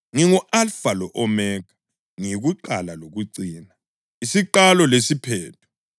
Ngingu-Alfa lo-Omega, ngiyiKuqala loKucina, isiQalo lesiPhetho.